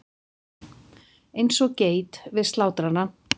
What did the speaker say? Eins og geit við slátrarann.